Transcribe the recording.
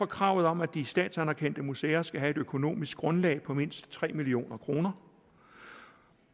kravet om at de statsanerkendte museer skal have et økonomisk grundlag på mindst tre million kr